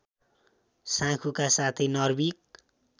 साँखुका साथै नर्भिक